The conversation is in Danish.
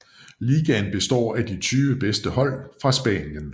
Ligaen består af de 20 bedste hold fra Spanien